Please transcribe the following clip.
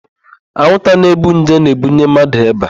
Anwụnta na-ebu nje na-ebunye mmadụ ịba.